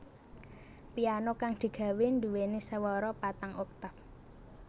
Piano kang digawé duweni swara patang oktaf